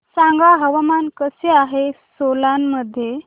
सांगा हवामान कसे आहे सोलान मध्ये